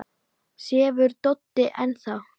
Sefur Doddi enn þá?